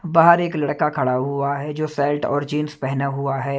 बाहर एक लड़का खड़ा हुआ है जो सेल्ट और जींस पहना हुआ है।